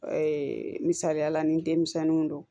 Ee misaliya la ni denmisɛnninw don